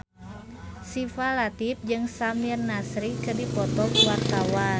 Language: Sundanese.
Syifa Latief jeung Samir Nasri keur dipoto ku wartawan